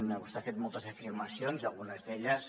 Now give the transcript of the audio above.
vostè ha fet moltes afirmacions i algunes d’elles